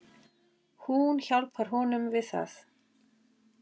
Hún hjálpar honum við það.